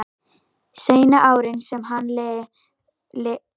Seinni árin sem hann lifði færði hann auð sinn yfir í jarðeignir.